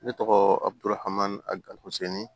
Ne tɔgɔ abuduhhan a gaduseni